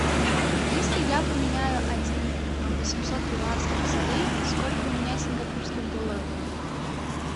если я поменяю один восемьсот перуанских солей сколько у меня сингапурских долларов будет